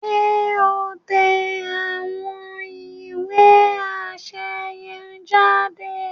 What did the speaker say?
Ṣe o n tẹ awọn ìwé aṣẹ yen jáde?